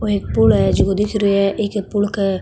ओ एक पूल है जिको दिख रो है ए पूल के --